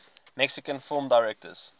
mexican film directors